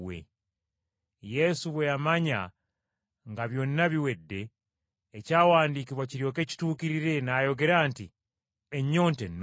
Yesu bwe yamanya nga byonna biwedde, ekyawandiikibwa kiryoke kituukirire, n’ayogera nti, “Ennyonta ennuma.”